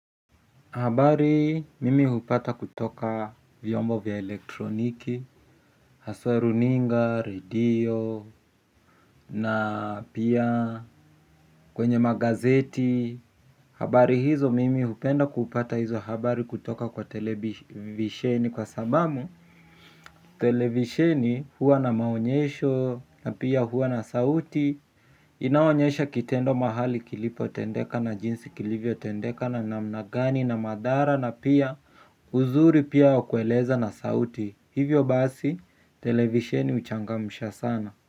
Habari mimi hupata kutoka vyombo vya elektroniki, haswa runinga, radio, na pia kwenye magazeti. Habari hizo mimi hupenda kupata hizo habari kutoka kwa televisheni kwa sababu. Televisheni huwa na maonyesho na pia huwa na sauti. Inaonyesha kitendo mahali kilipo tendeka na jinsi kilivyo tendeka na namna gani na madhara. Na pia uzuri pia wa kueleza na sauti. Hivyo basi, televisheni huchangamsha sana.